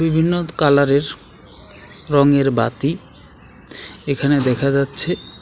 বিভিন্ন কালারের রঙের বাতি এখানে দেখা যাচ্ছে.